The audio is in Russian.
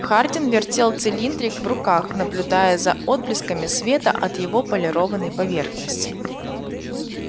хардин вертел цилиндрик в руках наблюдая за отблесками света от его полированной поверхности